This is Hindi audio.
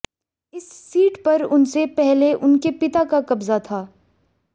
इस सीट पर उनसे पहले उनके पिता का कब्जा था